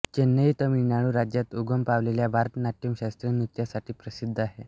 चेन्नई तमिळनाडू राज्यात उगम पावलेल्या भरतनाट्यम शास्त्रीय नृत्यासाठी प्रसिद्ध आहे